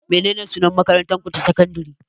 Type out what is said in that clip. Menene sunan makarantarku ta sakandare?